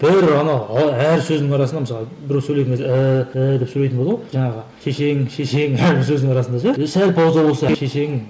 бір ана а әр сөзінің арасында мысалы біреу сөйлеген кезде ііі ііі деп сөйлейтін болады ғой жаңағы шешең шешең әрбір сөздің арасында да ше сәл пауза болса шешең